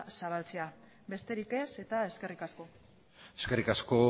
zabaltzera besterik ez eskerrik asko eskerrik asko